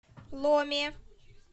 ломе